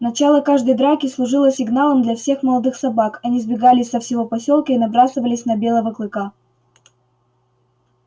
начало каждой драки служило сигналом для всех молодых собак они сбегались со всего посёлка и набрасывались на белого клыка